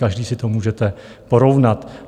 , každý si to můžete porovnat.